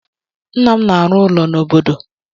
Nna m na-arụ ụlọ n'obodo.